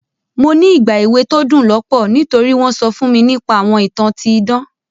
Mo ní ìgbà èwe to dún lọ́pọ̀ nítori won so fún mi nipa àwọn ìtàn ti idan.